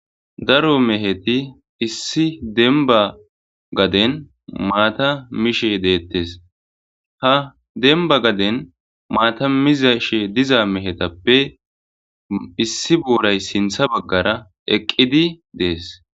daro meheti issi denba gaden maata mishe deettes ha demba gaden maatamiza she diza mehetappe issi booray sintha baggara eqqidi dees